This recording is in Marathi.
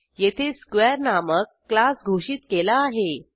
येथे स्क्वेअर नामक क्लास घोषित केला आहे